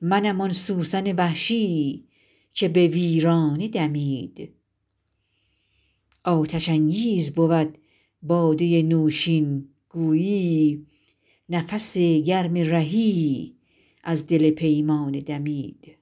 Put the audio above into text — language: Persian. منم آن سوسن وحشی که به ویرانه دمید آتش انگیز بود باده نوشین گویی نفس گرم رهی از دل پیمانه دمید